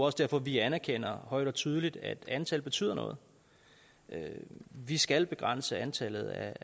også derfor vi anerkender højt og tydeligt at antallet betyder noget vi skal begrænse antallet af